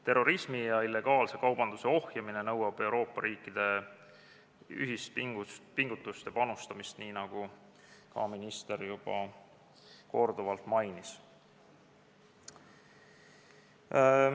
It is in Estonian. Terrorismi ja illegaalse kaubanduse ohjamine nõuab Euroopa riikide ühispingutust ja panustamist, nii nagu ka minister juba korduvalt mainis.